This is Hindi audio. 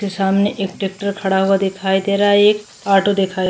फिर सामने एक टैक्टर खड़ा हुआ दिखाई दे रहा है एक ऑटो दिखाई --